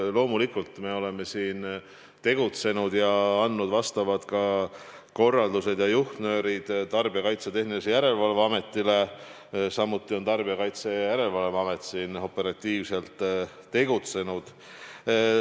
Loomulikult me oleme siin tegutsenud ja andnud ka vastavad korraldused-juhtnöörid Tarbijakaitse ja Tehnilise Järelevalve Ametile, samuti on amet ise operatiivselt tegutsenud.